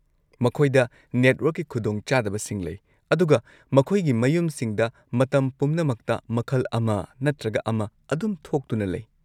ꯃꯈꯣꯏꯗ ꯅꯦꯠꯋꯔꯛꯀꯤ ꯈꯨꯗꯣꯡꯆꯥꯗꯕꯁꯤꯡ ꯂꯩ, ꯑꯗꯨꯒ ꯃꯈꯣꯏꯒꯤ ꯃꯌꯨꯝꯁꯤꯡꯗ ꯃꯇꯝ ꯄꯨꯝꯅꯃꯛꯇ ꯃꯈꯜ ꯑꯃ ꯅꯠꯇ꯭ꯔꯒ ꯑꯃ ꯑꯗꯨꯝ ꯊꯣꯛꯇꯨꯅ ꯂꯩ꯫